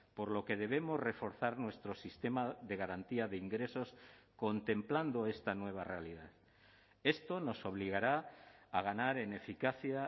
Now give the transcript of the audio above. por lo que debemos reforzar nuestro sistema de garantía de ingresos contemplando esta nueva realidad esto nos obligará a ganar en eficacia